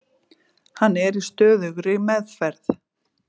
Hann er í stöðugri meðferð.